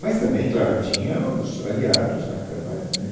Mas também, claro, tinha os aliados na Câmara, né?